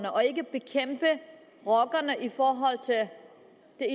og ikke bekæmpe rockerne i forhold til at